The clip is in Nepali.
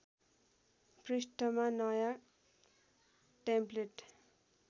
पृष्ठमा नयाँ टेम्प्लेट